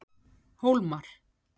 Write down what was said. Hólmar